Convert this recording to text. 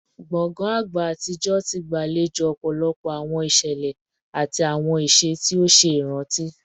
Gbongan agba atijọ ti gbalejo ọpọlọpọ awọn iṣẹlẹ ati awọn iṣe ti o ṣe iranti